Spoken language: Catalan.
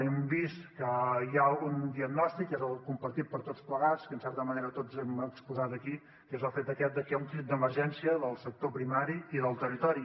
hem vist que hi ha un diagnòstic que és el compartit per tots plegats que en certa manera tots hem exposat aquí que és el fet aquest que hi ha un crit d’emergència del sector primari i del territori